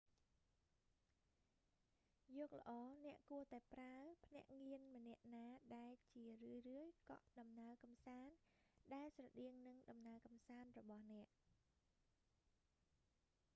យកល្អអ្នកគួរតែប្រើភ្នាក់ងារម្នាក់ណាដែលជារឿយៗកក់ ដំណើរកំសាន្តដែលស្រដៀងនឹង ដំណើរកំសាន្តរបស់អ្នក